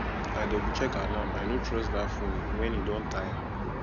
i doublecheck alarm i no trust that phone when e don tire